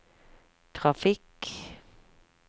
trafikk